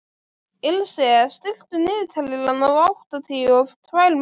Ilse, stilltu niðurteljara á áttatíu og tvær mínútur.